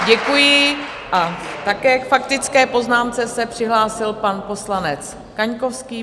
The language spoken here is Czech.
Děkuji a také k faktické poznámce se přihlásil pan poslanec Kaňkovský.